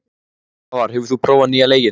Svavar, hefur þú prófað nýja leikinn?